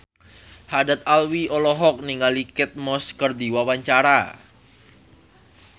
Haddad Alwi olohok ningali Kate Moss keur diwawancara